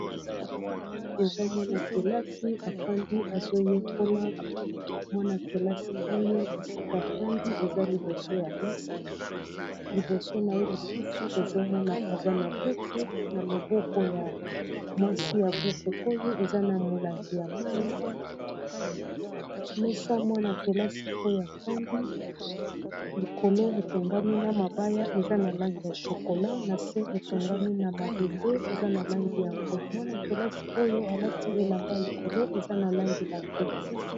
awa eza mwana-kelasi afandi azoyekola mwana-kelasi oyo esika fandi eza liboso ya mesa liboso na ye lisusu tozomona eza na buku na loboko ya mwasi ya buku oyo eza na molangi ya mai mesa mwana-kelasi oyo afandi likolo etongami na mabaya eza na langi ya shokola na se etongami na mabende eza na langi ya mbwe mwana-kelasi oyo alati elamba ya likolo eza na langi lambwe